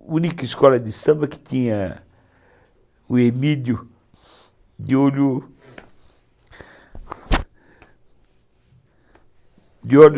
única escola de samba que tinha o Emílio de olho, de olhos